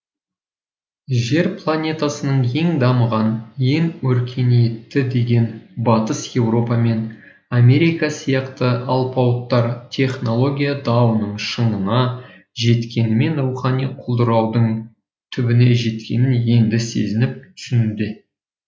жер планетасының ең дамыған ең өркениетті деген батыс еуропа мен америка сияқты алпауыттар технология дауының шыңына жеткенімен рухани құлдыраудың түбіне жеткенін енді сезініп түсінуде